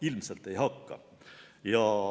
Ilmselt ei hakka.